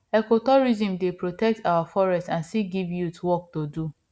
ecotourism dey protect our forest and still give youth work to do